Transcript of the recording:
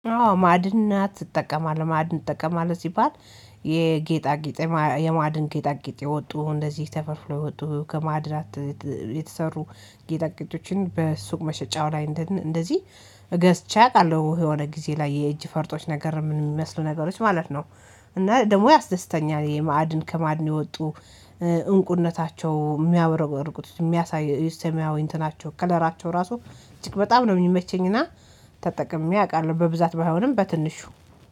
አዎ ማዐድናት አጠቀማለው ማዐድን ትጠቀማለህ ሲባል የጌጣጌጥ የማዐድን ጌጣጌጥ የወጡ እንደዚህ ተፈልፍሎ የወጡ ከማዐድናት የተሰሩ ጌጣጌጦችን በሱቅ መሸጫው ላይ እንደዚህ ገዝቼ አውቃለሁ የሆነ ጊዜ ላይ የእጅ ፈርጦች ነገር የሚመስሉ ነገሮች ማለት ነው። እና ደግሞ ያስደስተኛል የማዐድን ከማዐድን የወጡ እንቁነታቸው የሚያብረቀርቁት የሚያሳዩ ሰማያዊ እንትናቸው ከለራቸው ራሱ እጅግ በጣም ነው የሚመቸኝና። ተጠቅሜ አውቃለሁ በብዛት ባይሆንም በትንሹ